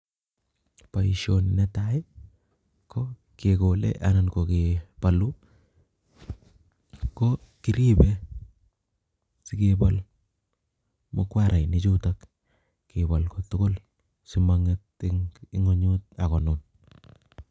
Boisoni netai ko kegole anan ko kebaluu ko kiribeen sikebol mukwarainik chutoo kebaal kotugul sima ngeet en kweenyut ako nuun.